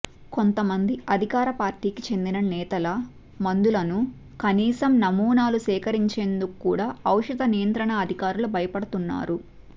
కొంతమంది అధికార పార్టీకి చెందిన నేతల మందులను కనీసం నమూనాలు సేకరించేందుకు కూడా ఔషధ నియంత్రణ అధికారులు భయపడుతున్నారు